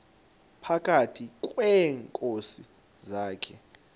phakathi kweenkosi zakhe